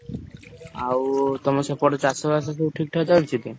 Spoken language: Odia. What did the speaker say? ଆଉ ତମ ସେପଟେ ଚାଷବାସ ସବୁ ଠିକ୍ ଠାକ ଚାଲିଚି ଟି?